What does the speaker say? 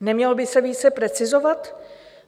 Nemělo by se více precizovat?